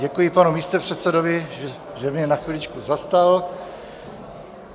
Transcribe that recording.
Děkuji panu místopředsedovi, že mě na chviličku zastal.